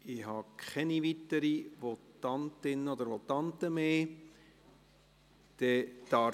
Ich habe keine weiteren Votantinnen oder Votanten mehr auf der Liste.